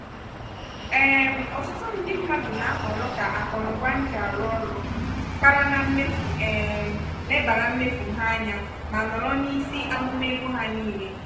um ọtụtụ ndị mmadụ na-ahọrọ ka akọrọngwa njiarụọrụ́ mkpara na mmefu um lebara mmefu ha anya ma nọrọ n'isi amụma ego ha niile.